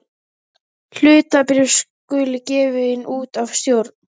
Hlutabréf skulu gefin út af stjórn.